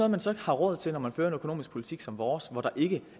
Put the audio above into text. man så har råd til når man fører en økonomisk politik som vores hvor der ikke